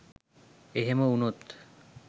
එහෙම වුනොත්